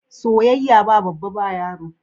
Soyayya ba babba ba yaro.